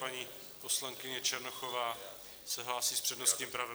Paní poslankyně Černochová se hlásí s přednostním právem.